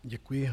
Děkuji.